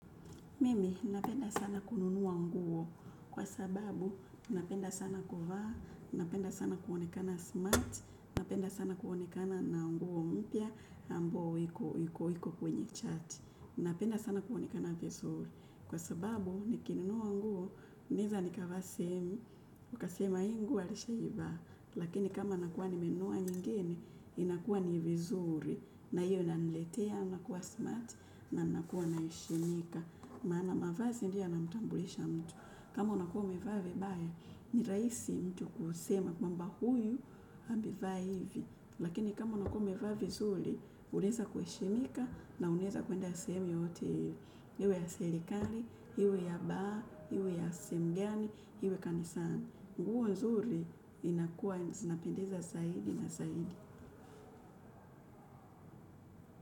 Mimi, napenda sana kununua nguo, kwa sababu napenda sana kuvaa, napenda sana kuonekana smart, napenda sana kuonekana na nguo mpya, ambao iko iko kwenye chat. Napenda sana kuonekana vizuri, kwa sababu nikinunua nguo, naweza nikavaa sehemu, ukasema jii nguo alisha ivaa, lakini kama nakuwa nimenunua nyingine, inakuwa ni vizuri. Na hiyo inaniletea, nakuwa smart, na nakuwa na heshimika. Maana mavazi ndiyo yana mtambulisha mtu. Kama unakuwa umevaa vibaya ni rahisi mtu kusema kwamba huyu amevaa hivi lakini kama unakuwa umevaa vizuri, unaweza kuheshimika na unaweza kwenda sehemu yoyote hiyo. Iwe ya serikari, iwe ya baa, iwe ya semgani, iwe ya kanisani. Nguo nzuri inakuwa zinapendeza zaidi na zaidi.